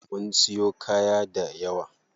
Mun siyo kaya dayawa.